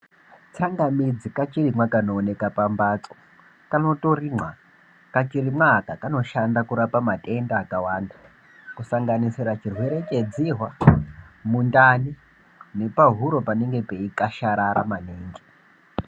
Tsangamidzi kachirimwa kanooneka pamphatso kanotorimwa, kachirimwa aka kanoshanda kurapa matenda akawanda kusanganisira chirwere chedzihwa, mundani nepahuro panenge peikasharara maningi.